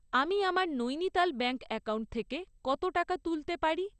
আমি আমার Nainital bank account থেকে কত টাকা তুলতে পারি?